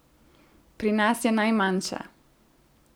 Pri nas je najmanjša.